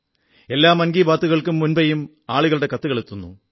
എല്ലാ മൻ കീ ബാത്തുകൾക്കും മുമ്പെയും ആളുകളുടെ കത്തുകൾ എത്തുന്നു